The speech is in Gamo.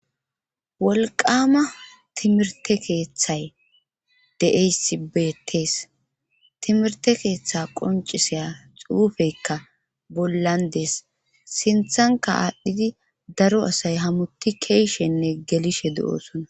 wolqama timirte keeththay deasibetes timirte keeththa qonciseya xuufeykka bollandees sinthanka aadhdhidi daro asay hamuti keeshenne gelishe du7osona